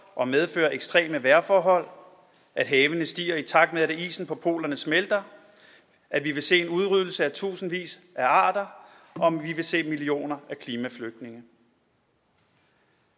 og medføre ekstreme vejrforhold at havene stiger i takt med at isen på polerne smelter at vi vil se en udryddelse af tusindvis af arter og se millioner af klimaflygtninge